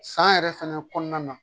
San yɛrɛ fɛnɛ kɔnɔna na